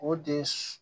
O de ye